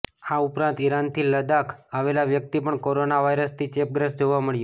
આ ઉપરાંત ઈરાનથી લદ્દાખ આવેલો વ્યક્તિ પણ કોરોના વાયરસથી ચેપગ્રસ્ત જોવા મળ્યો